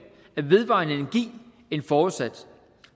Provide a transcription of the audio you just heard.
af vedvarende energi end forudsat